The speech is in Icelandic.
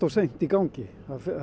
seint í gangi